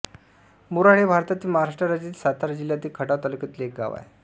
मोराळे हे भारतातील महाराष्ट्र राज्यातील सातारा जिल्ह्यातील खटाव तालुक्यातील एक गाव आहे